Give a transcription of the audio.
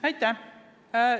Aitäh!